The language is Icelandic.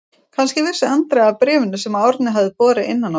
Kannski vissi Andrea af bréfinu sem Árni hafði borið innan á sér.